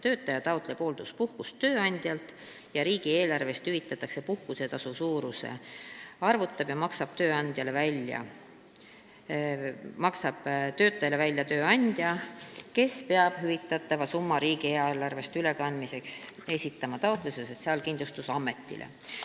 Töötaja taotleb hoolduspuhkust tööandjalt ja riigieelarvest hüvitatava puhkusetasu suuruse arvutab ja maksab töötajale välja tööandja, kes peab hüvitatava summa riigieelarvest ülekandmiseks esitama taotluse Sotsiaalkindlustusametile.